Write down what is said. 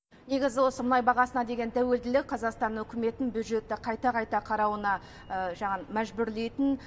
негізі осы мұнай бағасына деген тәуелділік қазақстан үкіметін бюджетті қайта қайта қарауына мәжбүрлейтін